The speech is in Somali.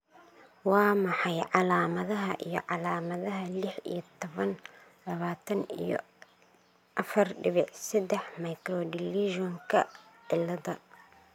Waa maxay calaamadaha iyo calaamadaha lix iyo tabanq labatan iyo afar dibic sedax microdeletionka ciladha?